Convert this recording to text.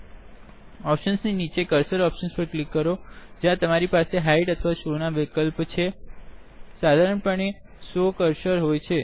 Optionsનિ નીચે કર્સર Optionsપર ક્લિક કરો જ્યાં તમારી પાસે હાઇડ અથવા શો ના વિકલ્પો છેસાધારણ પણે શો કર્સર હોય છે